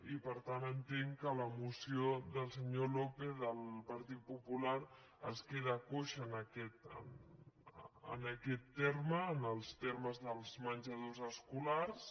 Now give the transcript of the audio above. i per tant entenc que amb la moció del senyor lópez el partit popular es queda coix en aquest terme en els termes dels menjadors escolars